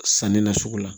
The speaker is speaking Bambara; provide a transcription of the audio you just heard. Sanni na sugu la